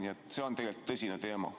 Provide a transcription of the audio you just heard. Nii et see on tegelikult tõsine teema.